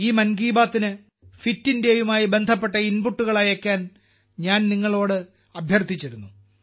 ഈ മൻ കി ബാത്തിന് ഫിറ്റ് ഇന്ത്യയുമായി ബന്ധപ്പെട്ട ഇൻപുട്ടുകൾ അയയ്ക്കാൻ ഞാൻ നിങ്ങളോട് അഭ്യർത്ഥിച്ചിരുന്നു